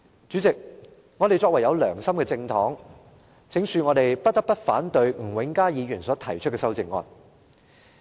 主席，我們作為有良心的政黨，不得不反對吳永嘉議員提出的修正案。